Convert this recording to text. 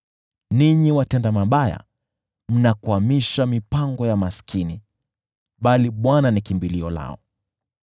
Ninyi watenda mabaya mnakwamisha mipango ya maskini, bali Bwana ndiye kimbilio lao.